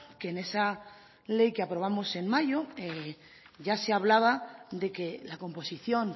que en esa ley que aprobamos en mayo ya se hablaba de que la composición